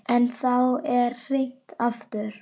En þá er hringt aftur.